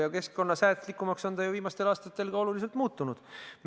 Ja keskkonnasäästlikumaks on see viimastel aastatel oluliselt muutunudki.